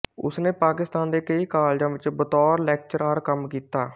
ਉਸ ਨੇ ਪਾਕਿਸਤਾਨ ਦੇ ਕਈ ਕਾਲਜਾਂ ਵਿੱਚ ਬਤੌਰ ਲੈਕਚਰਾਰ ਕੰਮ ਕੀਤਾ